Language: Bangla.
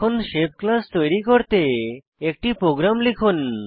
এখন শেপ ক্লাস তৈরী করতে একটি প্রোগ্রাম লিখুন